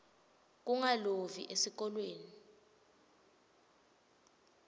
kungalovi esikolweni